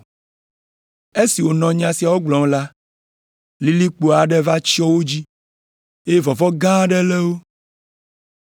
Esi wònɔ nya siawo gblɔm la, lilikpo aɖe va tsyɔ̃ wo dzi, eye vɔvɔ̃ gã aɖe lé wo.